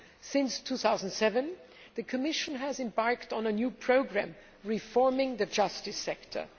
Since 2007, the Commission has embarked on a new programme reforming the justice sector.